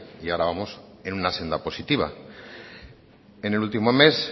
y ahora vamos en una senda positiva en el último mes